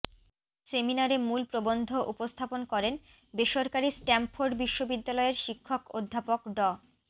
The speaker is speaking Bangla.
সেমিনারে মূল প্রবন্ধ উপস্থাপন করেন বেসরকারি স্ট্যামফোর্ড বিশ্ববিদ্যালয়ের শিক্ষক অধ্যাপক ড